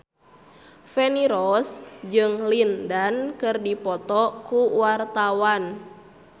Feni Rose jeung Lin Dan keur dipoto ku wartawan